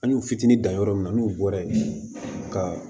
An y'u fitinin dan yɔrɔ min na n'u bɔra yen ka